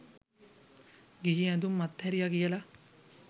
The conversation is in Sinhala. ගිහි ඇඳුම් අත් හැරියා කියලා.